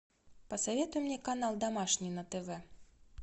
посоветуй мне канал домашний на тв